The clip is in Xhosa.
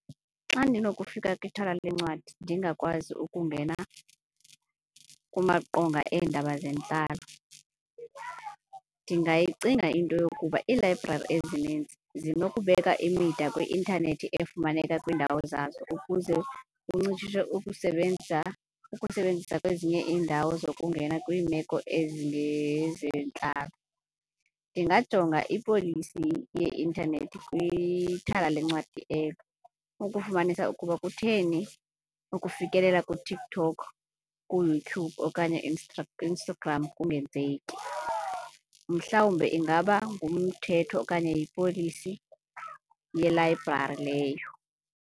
Xa ndinokufika kwithala leencwadi ndingakwazi ukungena kumaqonga eendaba zentlalo, ndingayicinga into yokuba iilayibrari ezininzi zinokubeka imida kwi-intanethi efumaneka kwiindawo zazo ukuze kuncitshiswe ukusebenza ukusebenzisa kwezinye iindawo zokungena kwiimeko ezingezentlalo. Ndingajonga ipolisi yeintanethi kwithala lencwadi elo, ukufumanisa ukuba kutheni ukufikelela kuTikTok, kuYouTube okanye Instagram kungenzeki. Mhlawumbe ingaba ngumthetho okanye yipolisi yelayibrari leyo.